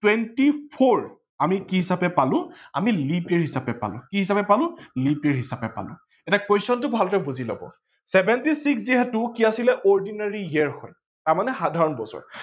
twenty four আমি কি হিচাপে পালো আমি leap year হিচাপে পালো, কি হিচাপে পালো leap year হিচাপে পালো। এতিয়া question টো ভালকে বুজি লব seventy six যিহেতু কি আছিলে ordinary year হয় তাৰমানে সাধাৰন বছৰ